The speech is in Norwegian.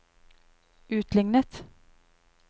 utlignet